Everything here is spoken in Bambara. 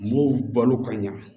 N b'o balo ka ɲa